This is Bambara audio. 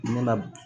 Ne la